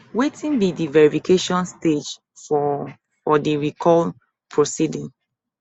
wetin be di verification stage for for di recall proceeding